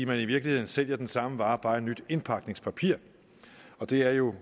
man i virkeligheden sælger den samme vare bare nyt indpakningspapir og det er jo